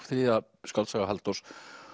þriðja skáldsaga Halldórs